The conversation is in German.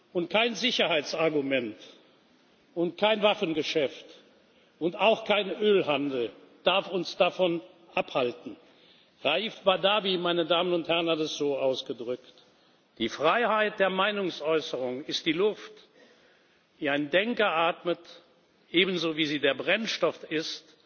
Und kein Sicherheitsargument, kein Waffengeschäft und auch kein Ölhandel darf uns davon abhalten. Raif Badawi hat es so ausgedrückt Die Freiheit der Meinungsäußerung ist die Luft, die ein Denker atmet, ebenso wie sie der Brennstoff